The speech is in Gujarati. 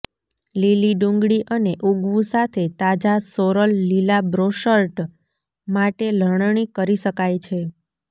લીલી ડુંગળી અને ઊગવું સાથે તાજા સોરલ લીલા બ્રોશર્ટ માટે લણણી કરી શકાય છે